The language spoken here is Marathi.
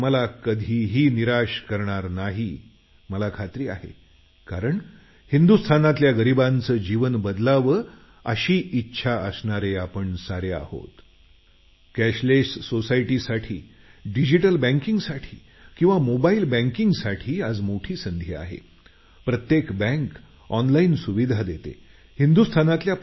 माझी खात्री आहे की हिंदुस्थानातच्या गरिबांचं जीवन बदलावं अशी इच्छा असणारे आपण आपोआप कॅशलेस सोसायटीसाठी बँकिंगसाठी आणि मोबाईल बँकिंगसाठी पुढे आलेल्या या संधीचा फायदा घ्याल